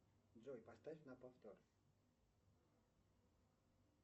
джой поставь на повтор